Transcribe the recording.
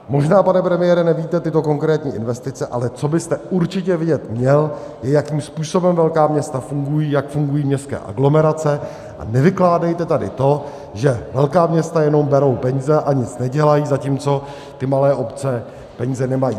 Možná, pane premiére, nevíte tyto konkrétní investice, ale co byste určitě vědět měl, je, jakým způsobem velká města fungují, jak fungují městské aglomerace, a nevykládejte tady to, že velká města jenom berou peníze a nic nedělají, zatímco ty malé obce peníze nemají.